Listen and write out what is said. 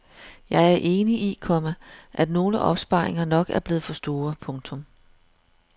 Jeg er enig i, komma at nogle opsparinger nok er blevet for store. punktum